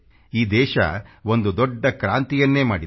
ಈ ದೇಶ ಒಂದು ದೊಡ್ಡ ಕ್ರಾಂತಿಯನ್ನೇ ಮಾಡಿದೆ